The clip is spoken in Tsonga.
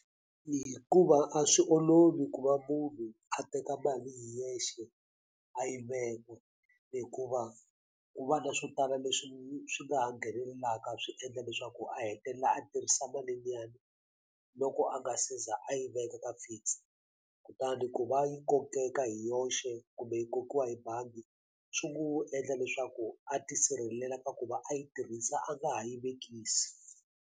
Hikuva a swi olovi ku va munhu a teka mali hi yexe a yi veka hikuva ku va na swo tala leswi swi nga ha nghenelelaka swi endla leswaku a hetelela a tirhisa mali liyani loko a nga seza a yi veka ka fix kutani ku va yi kokeka hi yoxe kumbe yi kokiwa hi bangi swi n'wi endla leswaku a tisirhelela ka ku va a yi tirhisa a nga ha yi vekisi.